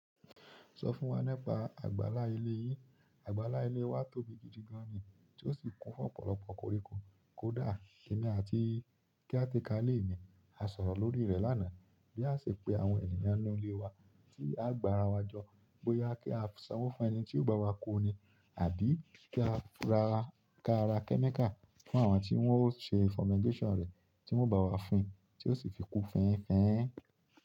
Sọ fún wa nípa àgbàlá ilé yín. Àgbàlá ilé wa tóbi gidi gan ni tí ó sì kún fún ọ̀pọ̀lọpọ̀ koríko. Kódà èmi àti caretaker ile mi á sọ̀rọ̀ lórí rẹ̀ lánàá bí a ṣe pe àwọn ènìyàn inú ilé wa tí a gbà ara wa jọ bóyá kí a sanwó fún ẹni tí yóò ba wá ko ni àbí kí á ra chemical fún àwọn tí wọ́n ó ṣe fumigation rẹ̀ tí wọ́n o bá wá fin tí ó sì fi kú fin fin.